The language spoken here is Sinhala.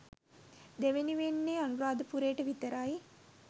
දෙවෙනි වෙන්නේ අනුරාධපුරේට විතරයි.